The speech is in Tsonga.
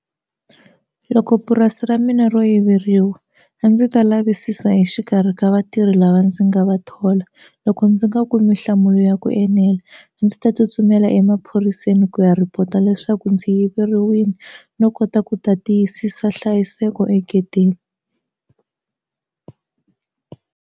Loko purasi ra mina ro yiveriwa a ndzi ta lavisisa hi xikarhi ka vatirhi lava ndzi nga va thola loko ndzi nga kumi nhlamulo ya ku enela a ndzi ta tsutsumela emaphoriseni ku ya report-a leswaku ndzi yiveriwile no kota ku ta tiyisisa nhlayiseko egedeni.